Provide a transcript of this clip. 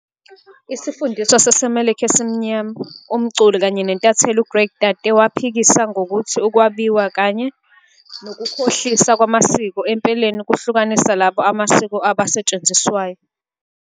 Isifundiswa saseMelika esimnyama, umculi kanye nentatheli u-Greg Tate waphikisa ngokuthi ukwabiwa kanye "nokukhohlisa" kwamasiko, empeleni, kuhlukanisa labo amasiko abo asetshenziswayo.